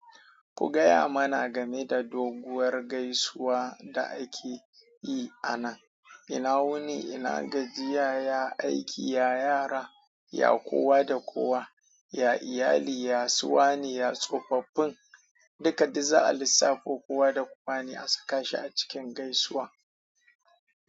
Ku gaya mana game da doguwar gaisuwa da ake yi a nan. Ina wuni, ina gajiya, ya aiki, ya yara, ya kowa da kowa? Ya iyali? Ya suwane, ya tsofaffin? Duka duk za a lissafo kuwa da kowane a saka shi a cikin gaisuwa.